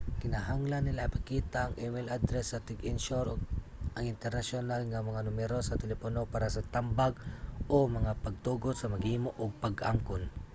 kinahanglan nila ipakita ang email address sa tig-insyur ug ang internasyonal nga mga numero sa telepono para sa tambag/mga pagtugot sa maghimo ug pag-angkon